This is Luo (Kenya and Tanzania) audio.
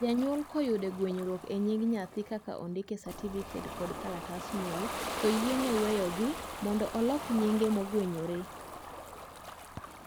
janyuol koyude gwenyruok e nying nyathi kaka odiki e satifiket kod kalatas nyuol to oyiene weyogi mondo olok nyinge mogwenyore